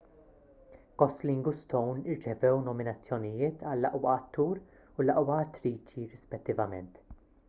gosling u stone rċevew nominazzjonijiet għall-aqwa attur u l-aqwa attriċi rispettivament